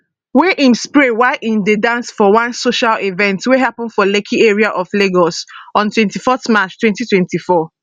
wey im spray while im dey dance for one social event wey happun for lekki area of lagos on 24 march 2024